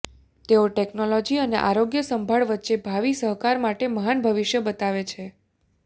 તેઓ ટેકનોલોજી અને આરોગ્ય સંભાળ વચ્ચે ભાવિ સહકાર માટે મહાન ભવિષ્ય બતાવે છે